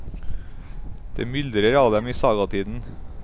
Det myldret av dem i sagatiden.